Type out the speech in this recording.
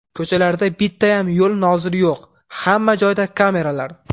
Ko‘chalarda bittayam yo‘l noziri yo‘q – hamma joyda kameralar.